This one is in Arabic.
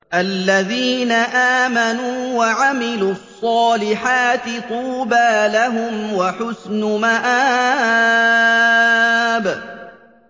الَّذِينَ آمَنُوا وَعَمِلُوا الصَّالِحَاتِ طُوبَىٰ لَهُمْ وَحُسْنُ مَآبٍ